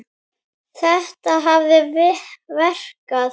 Þetta hafi verkað.